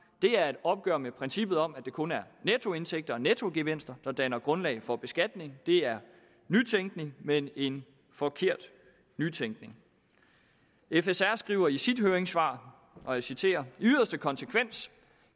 det er et opgør med princippet om at det kun er nettoindtægter og nettogevinster der danner grundlag for beskatning det er nytænkning men en forkert nytænkning fsr skriver i sit høringssvar og jeg citerer i yderste konsekvens